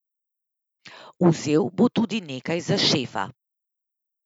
Vzel bo tudi nekaj za Šefa.